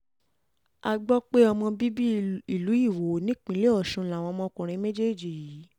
a gbọ́ um pé ọmọ bíbí ìlú iwọ nípínlẹ̀ ọ̀sùn làwọn ọmọkùnrin méjèèjì um yìí